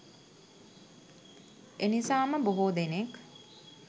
එනිසාම බොහෝ දෙනෙක්